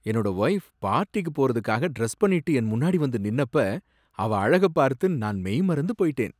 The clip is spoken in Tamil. என்னோட வொய்ஃப் பார்ட்டிக்கு போறதுக்காக டிரஸ் பண்ணிட்டு என் முன்னாடி வந்து நின்னப்ப அவ அழக பார்த்து நான் மெய்மறந்து போயிட்டேன்.